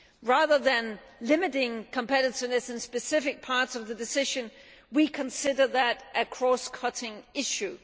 Rather than limiting competitiveness to specific parts of the Decision, we consider that to be a cross cutting issue.